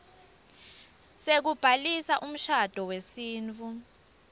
sekubhalisa umshado wesintfu